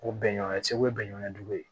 O bɛnɲɔgɔn segu ye bɛnkan jugu ye